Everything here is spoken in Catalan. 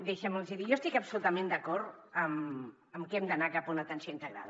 deixi’m dir los ho jo estic absolutament d’acord amb que hem d’anar cap a una atenció integrada